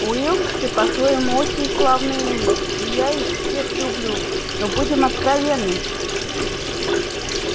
уилксы по-своему очень славные люди и я их всех люблю но будем откровенны